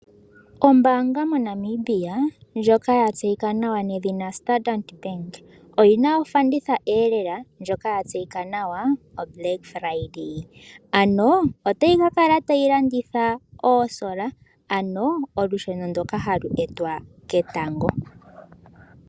Ombaanga moNamibia ndjoka ya tseyika nawa nedhina Standard Bank oyi na ofanditha ndjoka ya tseyika nawa oBlack Friday. Otayi ka kala tayi landitha oosola ano olusheno ndoka hali etwa ketango.